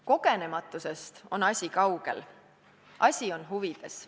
Kogenematusest on asi kaugel, asi on huvides.